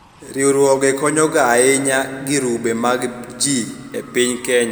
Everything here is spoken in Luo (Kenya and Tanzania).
riwruoge konyoga ahinya girube mag jii e piny Kenya